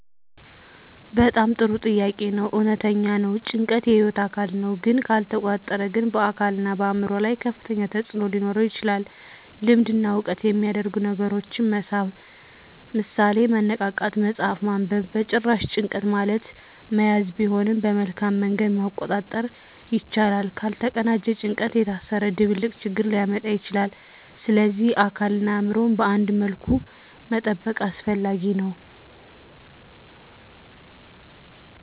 በጣም ጥሩ ጥያቄ ነው። እውነተኛ ነው — ጭንቀት የህይወት አካል ነው፣ ግን ካልተቆጣጠረ ግን በአካልና በአእምሮ ላይ ከፍተኛ ተፅዕኖ ሊኖረው ይችላል። ልምድ እና ዕውቀት የሚያደርጉ ነገሮችን መሳብ (ምሳሌ፦ መነቃቃት፣ መጽሐፍ ማንበብ) በጭራሽ፣ ጭንቀት ማለት መያዝ ቢሆንም በመልካም መንገድ መቆጣጠር ይቻላል። ካልተቀናጀ ጭንቀት የታሰረ ድብልቅ ችግር ሊያመጣ ይችላል፣ ስለዚህ አካልንና አእምሮን በአንድ መልኩ መጠበቅ አስፈላጊ ነው።